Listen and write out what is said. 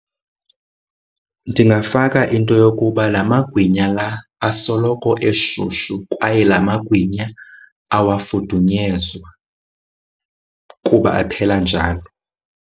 Ndingafaka into yokuba la amagwinya la asoloko eshushu kwaye la amagwinya awafudunyezwa kuba aphela njalo.